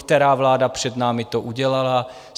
Která vláda před námi to udělala?